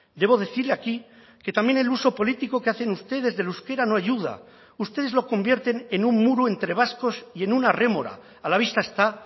debo decir aquí que también el uso político que hacen ustedes del euskera no ayuda ustedes lo convierten en un muro entre vascos y en una rémora a la vista está